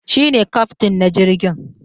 Shi ne kyaftin na jirgin